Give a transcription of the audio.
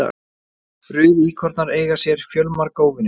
Rauðíkornar eiga sér fjölmarga óvini.